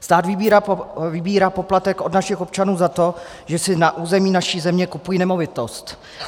Stát vybírá poplatek od našich občanů za to, že si na území naší země kupují nemovitost.